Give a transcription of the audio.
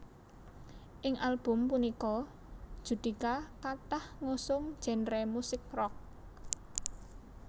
Ing album punika Judika kathah ngusung genre musik rock